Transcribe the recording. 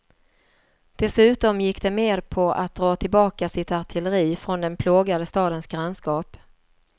Dessutom gick de med på att dra tillbaka sitt artilleri från den plågade stadens grannskap.